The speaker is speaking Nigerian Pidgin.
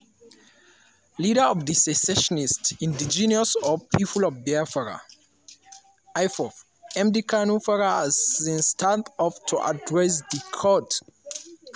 leader of di secessionist indigenous people of biafra (ipob) nnamdi kanu para as im stand up to address di court.